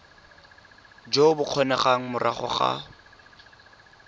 jo bo kgonegang morago ga